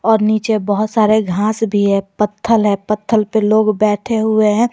और नीचे बहोत सारे घास भी पत्थल है पत्थल पे लोग बैठे हुए हैं।